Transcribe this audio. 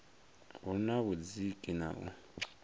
hu na vhudziki na u